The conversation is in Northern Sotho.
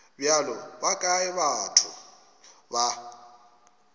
bjale ba kae batho ba